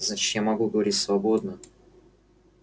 значит я могу говорить свободно